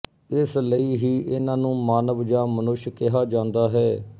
ਇਸ ਲਈ ਹੀ ਇਹਨਾਂ ਨੂੰ ਮਾਨਵ ਜਾਂ ਮਨੁੱਸ਼ ਕਿਹਾ ਜਾਂਦਾ ਹੈ